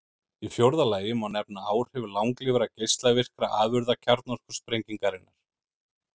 Í fjórða lagi má nefna áhrif langlífra geislavirkra afurða kjarnorkusprengingarinnar.